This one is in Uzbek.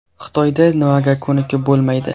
Xitoyda nimaga ko‘nikib bo‘lmaydi?